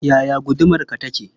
Yaya gudumarka take?